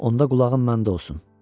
Onda qulağın məndə olsun.